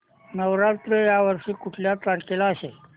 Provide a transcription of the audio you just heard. नवरात्र या वर्षी कुठल्या तारखेला असेल